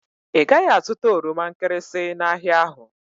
Ị gaghị azụta oroma nkịrịsị n'ahịa ahụ